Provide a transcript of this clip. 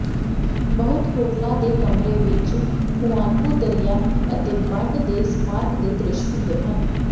ਬਹੁਤੇ ਹੋਟਲ ਦੇ ਕਮਰੇ ਵਿੱਚ ਹੁਆਨਪੂ ਦਰਿਆ ਅਤੇ ਬੰਡ ਦੇ ਸਮਾਰਕ ਦੇ ਦ੍ਰਿਸ਼ ਹੁੰਦੇ ਹਨ